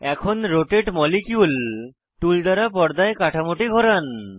এখন রোটাতে molecule tool দ্বারা পর্দায় কাঠামোটি ঘোরান